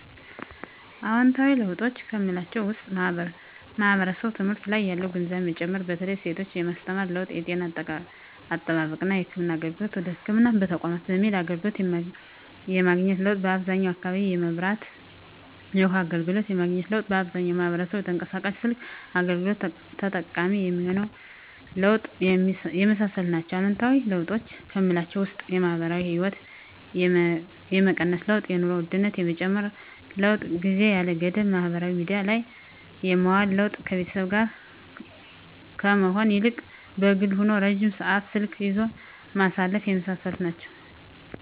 አዎንታዊ ለውጦች ከምላቸው ውስጥ ማህበረሰቡ ትምህርት ላይ ያለው ግንዛቤ መጨመር በተለይ ሴቶችን የማስተማር ለውጥ የጤና አጠባበቅና የህክምና አገልግሎትን ወደ ህክምና ተቋማት በመሄድ አገልግሎት የማግኘት ለውጥ በአብዛኛው አካባቢ የመብራትና የውሀ አገልግሎት የማግኘት ለውጥ አብዛኛው ማህበረሰብ የተንቀሳቃሽ ስልክ አገልግሎት ተጠቃሚ የመሆን ለውጥ የመሳሰሉት ናቸው። አሉታዊ ለውጦች ከምላቸው ውስጥ የማህበራዊ ህይወት የመቀነስ ለውጥ የኑሮ ውድነት የመጨመር ለውጥ ጊዜን ያለ ገደብ ማህበራዊ ሚዲያ ላይ የማዋል ለውጥ ከቤተሰብ ጋር ከመሆን ይልቅ በግል ሆኖ ረጅም ሰዓት ስልክ ይዞ ማሳለፍ የመሳሰሉት ናቸው።